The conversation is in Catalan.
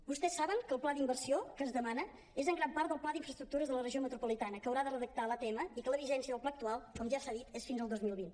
vostès saben que el pla d’inversió que es demana és en gran part el pla d’infraestructures de la regió metropolitana que haurà de redactar l’atm i que la vigència del pla actual com ja s’ha dit és fins al dos mil vint